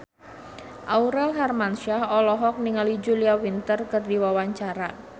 Aurel Hermansyah olohok ningali Julia Winter keur diwawancara